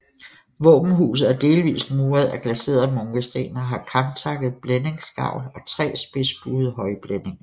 Våbenhuset er delvist muret af glaserede munkesten og har kamtakket blændingsgavl og tre spidsbuede højblændinger